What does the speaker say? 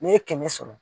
N'i ye kɛmɛ sɔrɔ